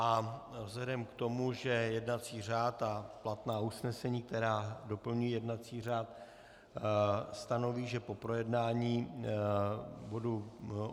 A vzhledem k tomu, že jednací řád a platná usnesení, která doplňují jednací řád, stanoví, že po projednání bodu